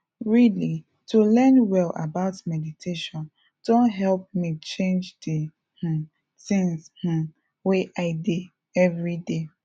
really to learn well about meditation don help me change d um things um wey i dey everyday